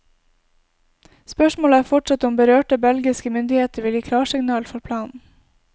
Spørsmålet er fortsatt om berørte belgiske myndigheter vil gi klarsignal for planen.